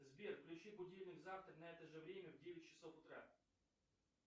сбер включи будильник завтра на это же время в девять часов утра